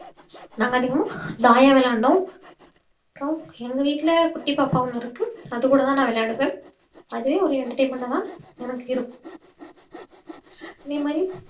நாங்க அதிகமா தாயம் விளையாண்டோம் அப்றோம் எங்க வீட்ல குட்டி பாப்பா ஒன்னு இருக்கு அதுக்கூடதா நான் விளையாடுவேன் அதே ஒரு entertainment ஆதான் எனக்கு இருக்கும் அதேமாறி